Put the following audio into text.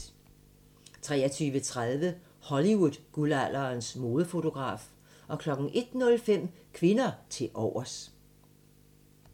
23:30: Hollywood-guldalderens modefotograf 01:05: Kvinder tilovers